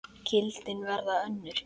Gildin verða önnur.